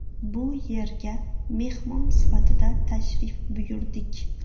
Bu yerga mehmon sifatida tashrif buyurdik.